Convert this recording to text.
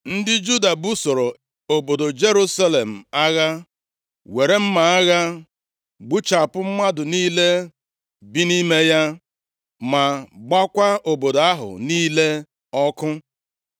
Ndị Juda busoro obodo Jerusalem agha, were mma agha gbuchapụ mmadụ niile bi nʼime ya, ma gbaakwa obodo ahụ niile ọkụ.